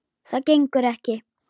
Það gengur ekki.